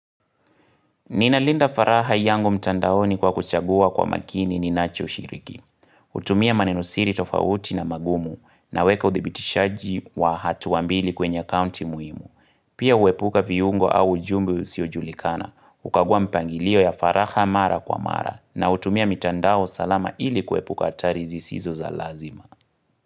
Ninalinda faraha yangu mtandaoni kwa kuchagua kwa makini ninacho shiriki. hUtumia manenosiri tofauti na magumu na weka uthibitishaji wa hatuambili kwenye akaunti muhimu. Pia huepuka viungo au ujumbe usio julikana. hUkaguwa mipangilio ya faraha mara kwa mara na hutumia mtandao salama ili kuepuka hatari zisizo za lazima.